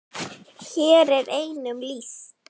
Hér er einum lýst.